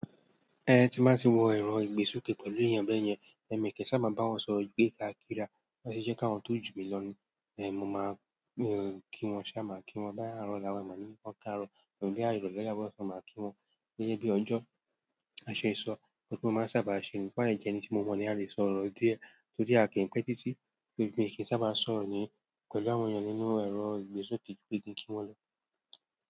Ẹn tí mba ti wọ ẹrọ ìgbésúke pẹ̀lú èèyàn bẹ́ẹ̀ yẹn, ẹ̀mí kì í sábà bá wọn sọ ìgbé ga kí ra, ó sì jẹ́ kí àwọn tó ju mi lọ ni èmi máa ń kí wọn ṣe à máa kí wọn. Bóyá arọ, la wà máa ń ní wọn káàárọ̀, bóyá ìrọ̀lẹ́ tàbí ọ́ṣán máa kí wọn gẹ́gẹ́ bí ọjọ́ aṣọ ìsọ̀, òun tí mo máa ń sábà ṣe ní tóbá dẹ̀ jẹẹni tí mo mọ̀ ni a lè sọ ọ̀rọ̀ òdì ẹ, tódì a kì í pẹ́ títí tó ibi mi kì í sábà sọ̀rọ̀ ni pẹ̀lú àwọn èèyàn nínú ẹrọ ìgbésoke bí n kí kí wọn lọ.